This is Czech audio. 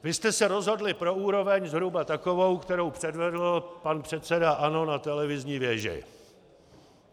Vy jste se rozhodli pro úroveň zhruba takovou, kterou předvedl pan předseda ANO na televizní věži.